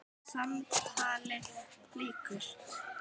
Samtali lýkur.